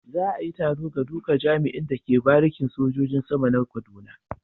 Za a yi taro ga duka jami'in da ke barikin sojojin sama na kaduna.